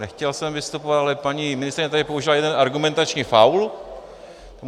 Nechtěl jsem vystupovat, ale paní ministryně tady použila jeden argumentační faul.